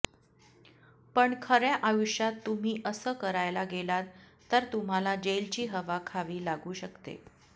पण खऱ्या आयुष्यात तुम्ही असं करायला गेलात तर तुम्हाला जेलची हवा खावी लागू शकते